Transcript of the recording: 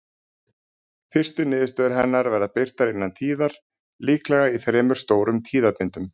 Fyrstu niðurstöður hennar verða birtar innan tíðar, líklega í þremur stórum tíðabindum.